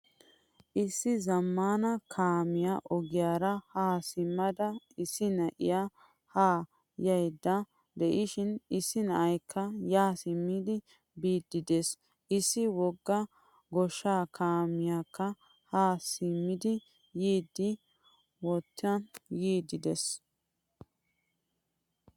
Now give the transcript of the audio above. Issi zamaana kaamiyaa ogiyaara ha simada issi na'iyaa ha yayda de'ishin issi na'aykka ya simmidi biidi de'ees. Issi wogga goosshaa kaamekka ha simidi yiidi wottan yiidi de'ees.